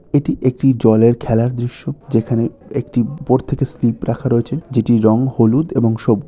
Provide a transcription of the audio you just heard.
এটি একটি জলের খেলার দৃশ্য। যেখানে একটি ওপর থেকে স্লিপ রাখা রয়েছে যেটির রং হলুদ এবং সবু--